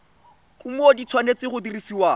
kumo di tshwanetse go dirisiwa